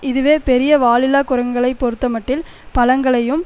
இதுவே பெரிய வாலில்லா குரங்குகளைப் பொறுத்தமட்டில் பழங்களையும்